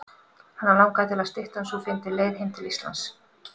Hana langaði til að styttan sú fyndi leið heim til Íslands.